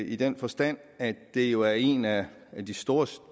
i den forstand at det jo er en af de store